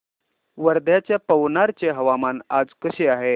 वर्ध्याच्या पवनार चे हवामान आज कसे आहे